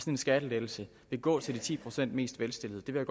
en skattelettelse vil gå til de ti procent mest velstillede jeg vil